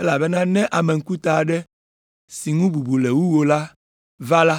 elabena ne ame ŋkuta aɖe si ŋu bubu le wu wò la va la,